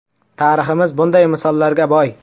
Tariximiz bunday misollarga boy.